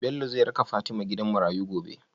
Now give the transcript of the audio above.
Bello zai raka fatima gidan marayu gobe?